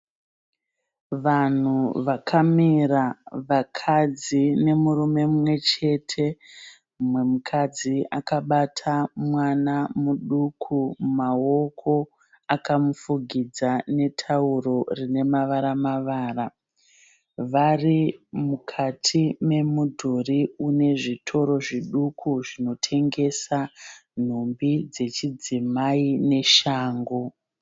Vanhu vakamira vakadzi nemurume mumwechete. Mumwemukadzi akabata mwana nuduku mumaoko, akamufugidza netauro rinemavaramavara. Varimukati memudhuri une zvitoro zviduku zvinotengesa nhumbi dzechidzimai neshangu.